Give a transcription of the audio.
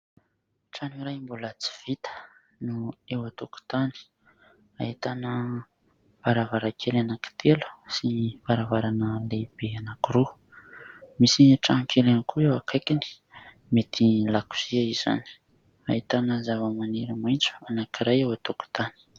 Trano iray mbola tsy vita no eo an-tokotany. Ahitana varavarankely anankitelo sy varavarana lehibe anankiroa. Misy trano kely ihany koa eo akaikiny, mety lakozia izany. Ahitana zavamaniry maitso anankiray eo an-tokotany.